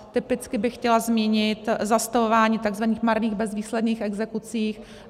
Typicky bych chtěla zmínit zastavování takzvaných marných, bezvýsledných exekucí.